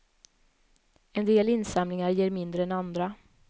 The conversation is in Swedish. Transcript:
En del insamlingar ger mindre än andra.